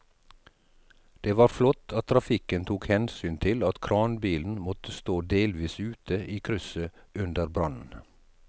Det var flott at trafikken tok hensyn til at kranbilen måtte stå delvis ute i krysset under brannen.